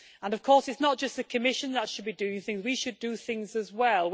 Of course it's not just the Commission that should be doing things we should do things as well.